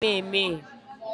Anaghị m emehie.